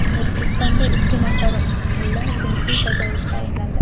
Tojikistonda ikki nafar mulla jinsiy tajovuzda ayblandi.